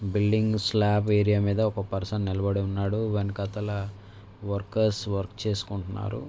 Building slab area మీద ఒక person నిలబడి ఉన్నాడు వెనకాతల వర్కర్స్ వర్క్ చేసుకుంటున్నారు.